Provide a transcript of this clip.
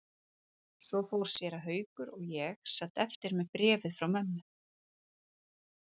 Svo fór séra Haukur og ég sat eftir með bréfið frá mömmu.